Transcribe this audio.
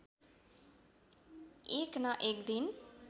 एक न एक दिन